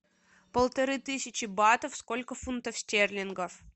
полторы тысячи батов сколько фунтов стерлингов